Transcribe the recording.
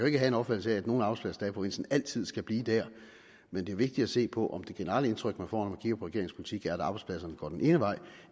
ikke have en opfattelse af at nogle arbejdspladser i provinsen altid skal blive der men det er vigtigt at se på om det generelle indtryk man får når man kigger politik er at arbejdspladserne går den ene vej